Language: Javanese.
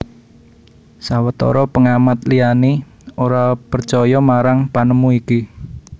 Sawetara pengamat liyani ora percaya marang panemu iki